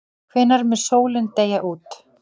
Hvenær mun sólin deyja út?